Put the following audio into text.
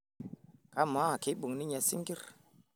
kamaa kibung ninye sinkir